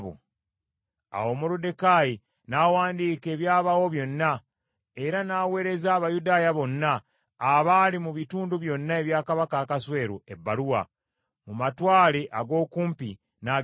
Awo Moluddekaayi n’awandiika ebyabaawo byonna, era n’aweereza Abayudaaya bonna abaali mu bitundu byonna ebya Kabaka Akaswero ebbaluwa, mu matwale ag’okumpi n’agewala,